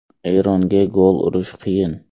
Eronga gol urish qiyin.